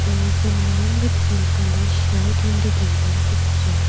there is a man with grey colour shirt in the given picture.